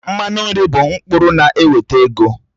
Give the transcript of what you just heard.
Mmanụ nri bụ mkpụrụ na-eweta ego